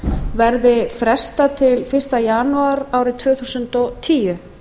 verði frestað til fyrsta janúar tvö þúsund og tíu